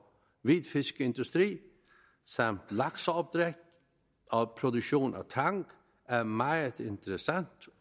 hvidfiskindustri samt lakseopdræt og produktion af tang er meget interessant